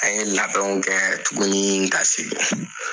An ye la labɛnw kɛ tuguni ka segin.